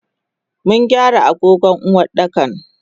Mungyara agogon Uwardakan.